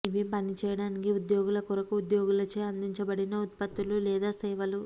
ఇవి పనిచేయడానికి ఉద్యోగుల కొరకు ఉద్యోగులచే అందించబడిన ఉత్పత్తులు లేదా సేవలు